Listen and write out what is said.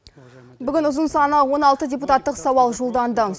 бүгін ұзын саны он алты депутаттық сауал жолданды